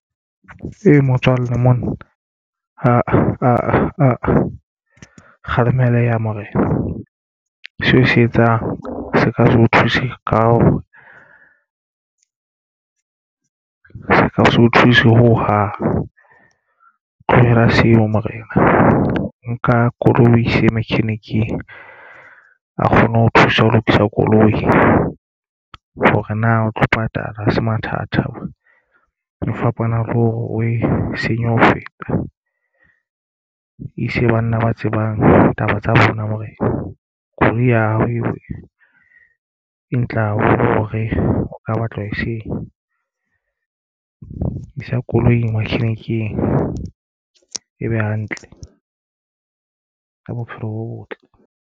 E motswalle mona kgalemeleya morena, seo se etsang se ka se o thuse ka ho se so thuse ho hang. Tlohela seo morena nka koloi o ise makheniking a kgone ho thusa ho lokisa koloi, hore na o tlo patala se mathata ho fapana le hore o e senye ho feta. E se banna ba tsebang taba tsa bona hore koloi ya hao eo e tlang hore o ka batla ho eseng isa koloi wa machinic-eng be hantle ka bophelo bo botle.